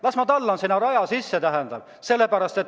Las ma tallan sinna raja sisse!